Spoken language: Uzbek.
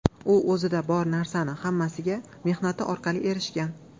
U o‘zida bor narsaning hammasiga mehnati orqali erishgan.